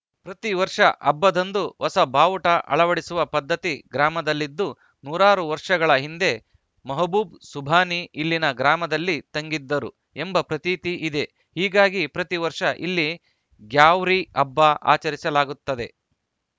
ಪ್ರತಿ ವರ್ಷ ಹಬ್ಬದಂದು ಹೊಸ ಬಾವುಟ ಅಳವಡಿಸುವ ಪದ್ಧತಿ ಗ್ರಾಮದಲ್ಲಿದ್ದು ನೂರಾರು ವರ್ಷಗಳ ಹಿಂದೆ ಮಹಬೂಬ್‌ ಸುಭಾನಿ ಇಲ್ಲಿನ ಗ್ರಾಮದಲ್ಲಿ ತಂಗಿದ್ದರು ಎಂಬ ಪ್ರತೀತಿ ಇದೆ ಹೀಗಾಗಿ ಪ್ರತಿ ವರ್ಷ ಇಲ್ಲಿ ಗ್ಯಾವ್ರಿ ಹಬ್ಬ ಆಚರಿಸಲಾಗುತ್ತದೆ